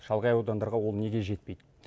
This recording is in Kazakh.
шалғай аудандарға ол неге жетпейді